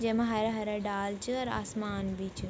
जैमा हरा हरा डाल च अर आसमान व्ही च ।